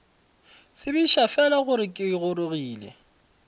tsebiša fela gore ke gorogile